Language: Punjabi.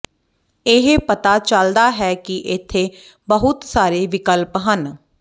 ਇਹ ਪਤਾ ਚਲਦਾ ਹੈ ਕਿ ਇੱਥੇ ਬਹੁਤ ਸਾਰੇ ਵਿਕਲਪ ਹਨ